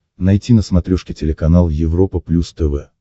найти на смотрешке телеканал европа плюс тв